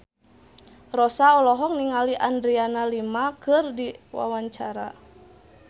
Rossa olohok ningali Adriana Lima keur diwawancara